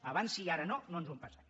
abans sí i ara no no ens ho empassem